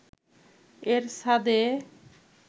এর ছাদে